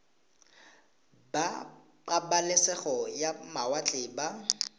ba pabalesego ya mawatle ba